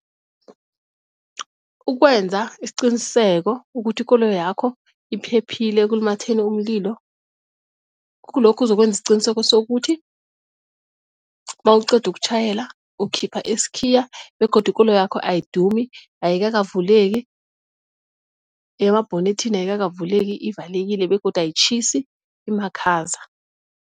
Ukwenza isiqiniseko ukuthi ikoloyakho iphephile ekulumatheni umlilo kulokhu uzokwenza isiqiniseko sokuthi mawuqeda ukutjhayela ukhipha isikhiya begodu ikoloyakho ayidumi, ayikakavuleki nemabhonethini ayikakavuleki ivalekile begodu ayitjhisi imakhaza.